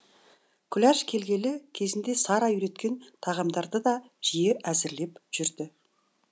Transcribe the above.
күләш келгелі кезінде сара үйреткен тағамдарды да жиі әзірлеп жүрді